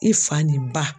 I fa nin ba